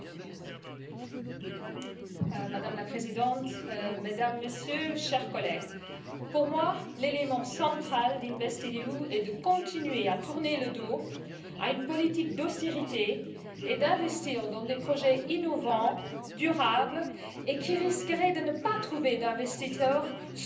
Madame la Présidente, Mesdames, Messieurs, chers collègues, pour moi, l'élément central d'InvestEU est de continuer à tourner le dos à une politique d'austérité et d'investir dans des projets innovants, durables, et qui risqueraient de ne pas trouver d'investisseurs sans le soutien de l'Union européenne.